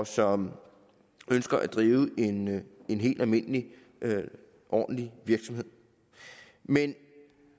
som ønsker at drive en en helt almindelig ordentlig virksomhed men